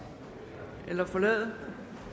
eller forlade